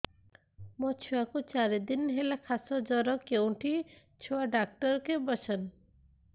ମୋ ଛୁଆ କୁ ଚାରି ଦିନ ହେଲା ଖାସ ଜର କେଉଁଠି ଛୁଆ ଡାକ୍ତର ଵସ୍ଛନ୍